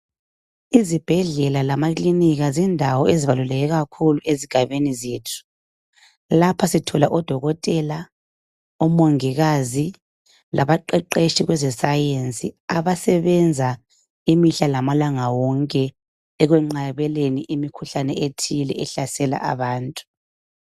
Izibhedlela lamakilinika zindawo eziqakatheke kakhulu ezigabeni zethu. Lapha sithola odokotela, omongikazi labaqeqetshi bezesayensi abasebenza imihla lamalanga ukwenqabela imikhuhlane ethile ehlasela abantu.